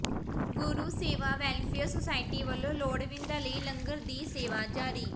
ਗੁਰੂ Sewa welfare society ਵਲੋਂ ਲੋੜਵੰਦਾਂ ਲਈ ਲੰਗਰ ਦੀ ਸੇਵਾ ਜਾਰੀ